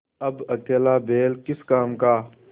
अब अकेला बैल किस काम का